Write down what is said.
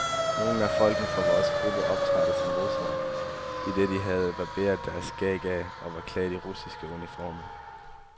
Nogle af folkene fra vores gruppe optrådte som russere, idet de havde barberet deres skæg af og var klædt i russiske uniformer.